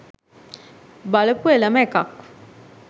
බලපු එලම එකක්.